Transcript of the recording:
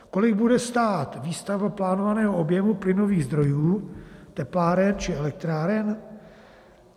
Kolik bude stát výstavba plánovaného objemu plynových zdrojů tepláren či elektráren?